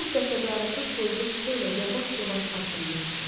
O qəsəbəarası tozlu küçəylə yavaş-yavaş addımlayırdı.